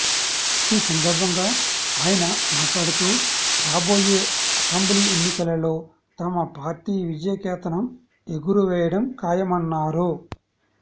ఈ సందర్భంగా ఆయన మాట్లాడుతూ రాబోయే అసెంబ్లీ ఎన్నికలలో తమ పార్టీ విజయకేతనం ఎగురవేయడం ఖాయమన్నారు